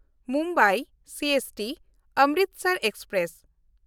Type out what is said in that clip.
Mumbai CST-Amritsar express